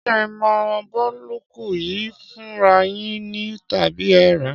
Ṣé ẹ mọ búlọ́ọ̀kù yìí fúnra yín ni tàbí ẹ rá á?